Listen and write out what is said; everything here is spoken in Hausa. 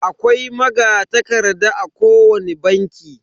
Akwai magatakarda a kowani banki.